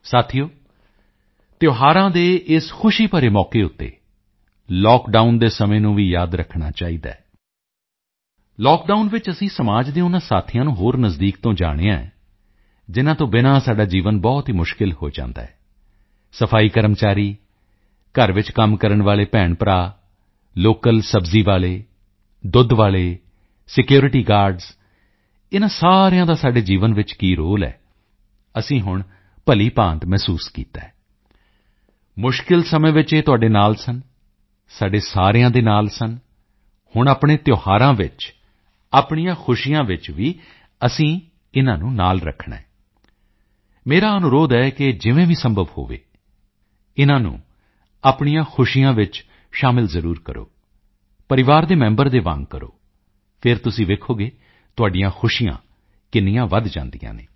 ਸਾਥੀਓ ਤਿਓਹਾਰਾਂ ਦੇ ਇਸ ਖੁਸ਼ੀ ਭਰੇ ਮੌਕੇ ਉੱਤੇ ਲਾਕਡਾਊਨ ਦੇ ਸਮੇਂ ਨੂੰ ਵੀ ਯਾਦ ਰੱਖਣਾ ਚਾਹੀਦਾ ਹੈ ਲਾਕਡਾਊਨ ਵਿੱਚ ਅਸੀਂ ਸਮਾਜ ਦੇ ਉਨ੍ਹਾਂ ਸਾਥੀਆਂ ਨੂੰ ਹੋਰ ਨਜ਼ਦੀਕ ਤੋਂ ਜਾਣਿਆ ਹੈ ਜਿਨ੍ਹਾਂ ਤੋਂ ਬਿਨਾ ਸਾਡਾ ਜੀਵਨ ਬਹੁਤ ਹੀ ਮੁਸ਼ਕਿਲ ਹੋ ਜਾਂਦਾ ਹੈ ਸਫਾਈ ਕਰਮਚਾਰੀ ਘਰ ਵਿੱਚ ਕੰਮ ਕਰਨ ਵਾਲੇ ਭੈਣਭਰਾ ਲੋਕਲ ਸਬਜ਼ੀ ਵਾਲੇ ਦੁੱਧ ਵਾਲੇ ਸਿਕਿਉਰਿਟੀ ਗਾਰਡਜ਼ ਇਨ੍ਹਾਂ ਸਾਰਿਆਂ ਦਾ ਸਾਡੇ ਜੀਵਨ ਵਿੱਚ ਕੀ ਰੋਲ ਹੈ ਅਸੀਂ ਹੁਣ ਭਲੀਭਾਂਤ ਮਹਿਸੂਸ ਕੀਤਾ ਹੈ ਮੁਸ਼ਕਿਲ ਸਮੇਂ ਵਿੱਚ ਇਹ ਤੁਹਾਡੇ ਨਾਲ ਸਨ ਸਾਡੇ ਸਾਰਿਆਂ ਦੇ ਨਾਲ ਸਨ ਹੁਣ ਆਪਣੇ ਤਿਓਹਾਰਾਂ ਵਿੱਚ ਆਪਣੀਆਂ ਖੁਸ਼ੀਆਂ ਵਿੱਚ ਵੀ ਅਸੀਂ ਇਨ੍ਹਾਂ ਨੂੰ ਨਾਲ ਰੱਖਣਾ ਹੈ ਮੇਰਾ ਅਨੁਰੋਧ ਹੈ ਕਿ ਜਿਵੇਂ ਵੀ ਸੰਭਵ ਹੋਵੇ ਇਨ੍ਹਾਂ ਨੂੰ ਆਪਣੀਆਂ ਖੁਸ਼ੀਆਂ ਵਿੱਚ ਜ਼ਰੂਰ ਸ਼ਾਮਿਲ ਕਰੋ ਪਰਿਵਾਰ ਦੇ ਮੈਂਬਰ ਦੇ ਵਾਂਗ ਕਰੋ ਫਿਰ ਤੁਸੀਂ ਵੇਖੋਗੇ ਤੁਹਾਡੀਆਂ ਖੁਸ਼ੀਆਂ ਕਿੰਨੀਆਂ ਵਧ ਜਾਂਦੀਆਂ ਹਨ